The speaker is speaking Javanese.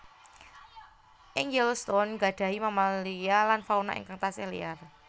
Ing Yellowstone gadhahi mamalia lan fauna ingkang tasih liar